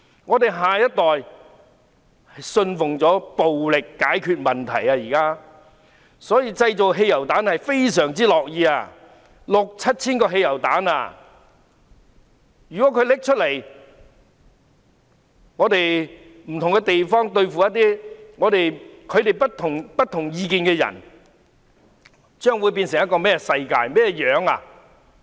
我們的下一代現在篤信暴力可以解決問題，所以非常樂意製造汽油彈，已經製造六七千個汽油彈，如果他們用來對付在不同地區的異見人士，將會變成甚麼世界呢？